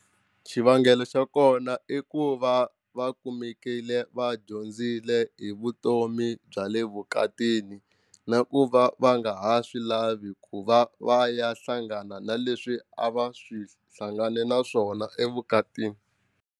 Xivangelo xa kona i ku va va kumekile va dyondzile hi vutomi bya le vukatini na ku va va nga ha swi lavi ku va va ya hlangana na leswi a va swi hlangane na swona evukatini.